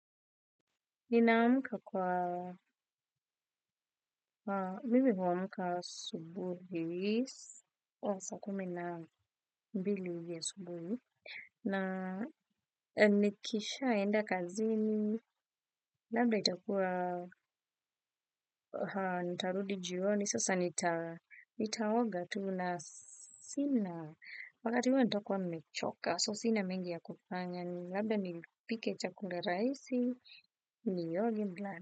Ninaamka kwa, mimi huamka asubuhi, saa kumi na mbili asubuhi, na nikishaenda kazini, labda itakua, nitarudi jioni, sasa nitaoga tu na sina, wakati huo nitakuwa nmechoka, so sina mengi ya kupanya, labda nipike chakula rahisi, nioge nilale.